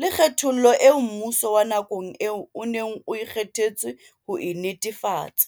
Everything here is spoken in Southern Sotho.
le kgethollo eo mmuso wa nakong eo o neng o kge thetswe ho e netefatsa.